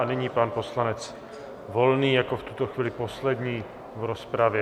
A nyní pan poslanec Volný jako v tuto chvíli poslední v rozpravě.